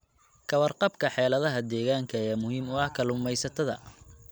Ka warqabka xaaladaha deegaanka ayaa muhiim u ah kalluumaysatada.